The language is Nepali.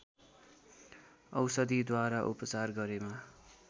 औषधिद्वारा उपचार गरेमा